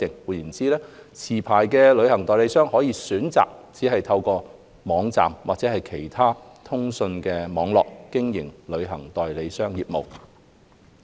換言之，持牌旅行代理商可選擇只透過網站或任何其他通訊網絡，經營旅行代理商業務。